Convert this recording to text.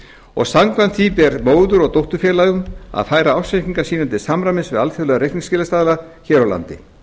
og samkvæmt því ber móður og dótturfélögum að færa ársreikninga sína til samræmis við alþjóðlega reikningsskilastaðla hér á landi